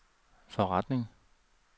forretning